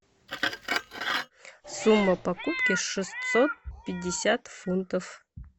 сумма покупки шестьсот пятьдесят фунтов